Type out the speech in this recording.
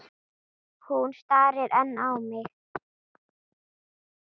Hún starir enn á mig.